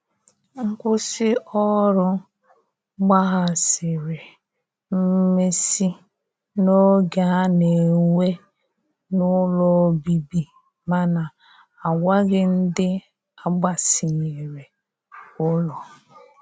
Nkwụsi ọrụ gbahasiri mmesi n'oge ana n'enwe n'ụlọ ọbibi mana agwaghi ndi agbasinyere ụlọ.